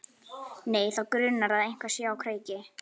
Nei, þá grunar að eitthvað sé á kreiki.